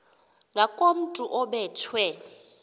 ngakomntu obe thwe